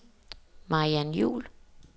Mariann Juul